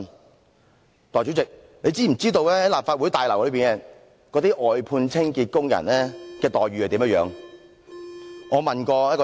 代理主席，你知否在立法會大樓內的外判清潔工人的待遇如何？